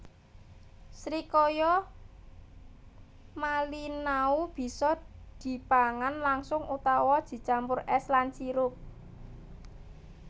Srikaya malinau bisa dipangan langsung utawa dicampur es lan sirup